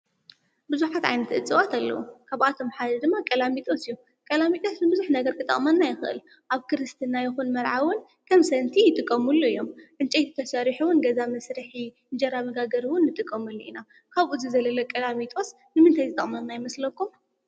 ብዙሓት ዓይነታት እፅዋት አለው ካብአቶም ድማ ቀላሚጦስ እዩ። ቀላሚጦስ ንቡዙሕ ይጠቅመና አብ ክርስትና ይኩን መርዓ እውን ከም ሰንቲ ይጥቀምሉ እዮም። እንጨይቲ ተሰሪሑ እዉን ገዛ መስርሒ እንጀራ መጋገሪ እውን ንጥቀመሉ ኢና ካብኡ ዝዘለለ ቀላሚጦስ ንምንታይ ይጠቅመና ይመስለኩም ?